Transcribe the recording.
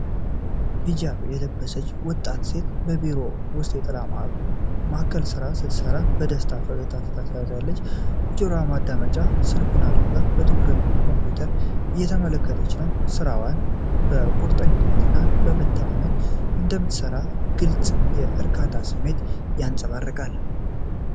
ሂጃብ የለበሰች ወጣት ሴት በቢሮ ውስጥ የጥሪ ማዕከል ሥራ ስትሰራ በደስታ ፈገግታ ታሳያለች። በጆሮ ማዳመጫ ስልኩን አድርጋ በትኩረት ኮምፒውተሯን እየተመለከተች ነው። ስራዋን በቁርጠኝነት እና በመተማመን እንደምትሰራ ግልጽ0 የእርካታ ስሜትም ይንጸባረቃል።